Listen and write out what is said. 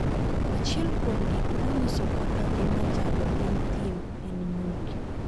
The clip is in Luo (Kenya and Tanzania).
Achiel kuom gik ma nyiso kaka ngima chalo e thim, en nyuki.